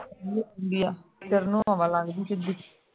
ਹੁੰਦੀ ਆ ਸਿਰ ਨੂੰ ਹਵਾ ਲੱਗਦੀ ਸਿੱਧੀ